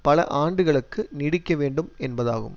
பல ஆண்டுகளுக்கு நீடிக்க வேண்டும் என்பதாகும்